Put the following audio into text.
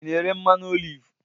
Ị na-ere mmanụ oliv?